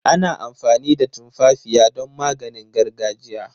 Ana amfani da tumfafiya don maganin gargajiya.